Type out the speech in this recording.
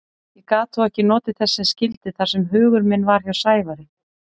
Ég gat þó ekki notið þess sem skyldi þar sem hugur minn var hjá Sævari.